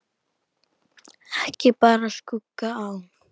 Ekki bar skugga á.